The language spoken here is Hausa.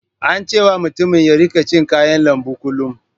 An ce wa mutumin ya rika cin kayan lambu kullum.